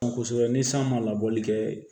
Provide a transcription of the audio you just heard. Kosɛbɛ ni san ma labɔli kɛ